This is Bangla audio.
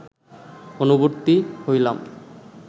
অনুবর্তী হইলাম